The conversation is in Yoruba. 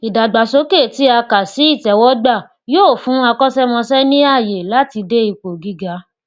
ìdàgbàsókè tí a kà sí itẹwọgbà yóò fún akọṣẹmọṣẹ ní ààyè láti dé ipò gíga